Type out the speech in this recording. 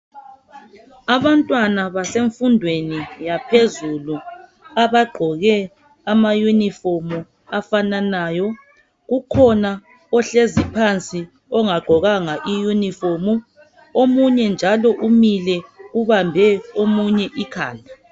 Abantwana basemfundweni yaphezulu abagqoke ama unifomu afananayo kukhona ohlezi phansi ongaqgokanga I unifomu omunye njalo umile ubambe omunye ikhanda